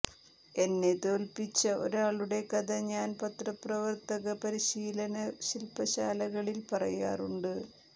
എന്നെ തോൽപിച്ച ഒരാളുടെ കഥ ഞാൻ പത്രപ്രവർത്തക പരിശീലന ശിൽപശാലകളിൽ പറയാറുണ്ട്